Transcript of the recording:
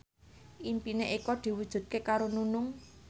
impine Eko diwujudke karo Nunung